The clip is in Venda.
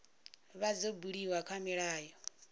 vha dzo buliwa kha milayo